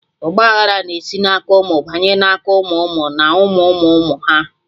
Ọgba aghara na-esi na aka ụmụ banye na aka ụmụ ụmụ na ụmụ ụmụ ụmụ ha